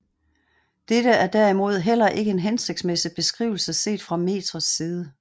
Dette er derimod heller ikke en hensigtsmæssig beskrivelse set fra metrets side